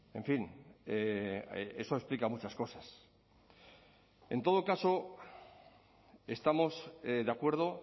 en fin eso explica muchas cosas en todo caso estamos de acuerdo